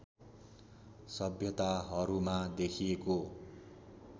सभ्यताहरूमा देखिएको